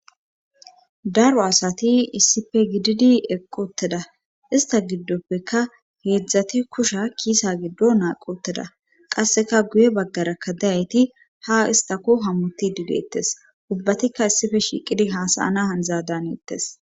daro asati issife gididi eqqoteda ista giddoppeka heedzdzati kusha kiisa giddo naaqoteda qasseka guye baggarakka dayayti ha istako hamuti digeettes ubbatikka issife shiiqidi hasayana handza daanettes